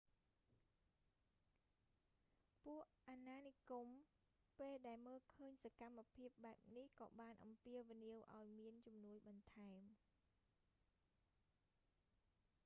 ពួកអាណានិគមពេលដែលមើលឃើញសកម្មភាពបែបនេះក៏បានអំពាវនាវឱ្យមានជំនួយបន្ថែម